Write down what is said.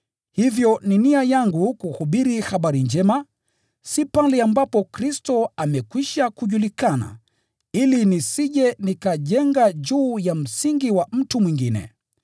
Hivyo ni nia yangu kuhubiri Habari Njema, si pale ambapo Kristo amekwisha kujulikana, ili nisije nikajenga juu ya msingi wa mtu mwingine.